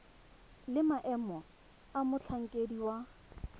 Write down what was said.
le maemo a motlhankedi wa